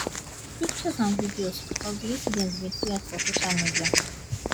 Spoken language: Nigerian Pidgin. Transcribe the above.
pictures and videos of di incident bin trend for social media